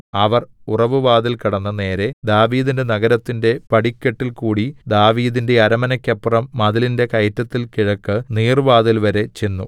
അവർ ഉറവുവാതിൽ കടന്ന് നേരെ ദാവീദിന്റെ നഗരത്തിന്റെ പടിക്കെട്ടിൽകൂടി ദാവീദിന്റെ അരമനക്കപ്പുറം മതിലിന്റെ കയറ്റത്തിൽ കിഴക്ക് നീർവ്വാതിൽവരെ ചെന്നു